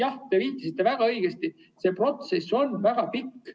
Jah, te ütlesite väga õigesti, see protsess on väga pikk.